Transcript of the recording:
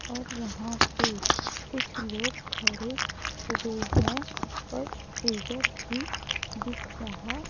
और यहां पर कुछ लोग खड़े हुए हैं और फ्रीजर भी दिख रहा--